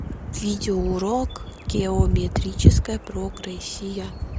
видеоурок геометрическая прогрессия